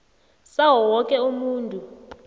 sawo woke umuntu